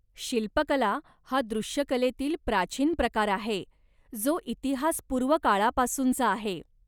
शिल्पकला हा दृश्यकलेतील प्राचीन प्रकार आहे, जो इतिहासपूर्व काळापासूनचा आहे.